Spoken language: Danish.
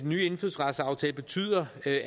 nye indfødsretsaftale betyder at